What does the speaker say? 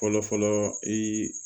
Fɔlɔfɔlɔ i